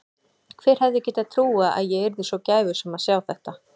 Hver hefði getað trúað að ég yrði svo gæfusöm að sjá þetta.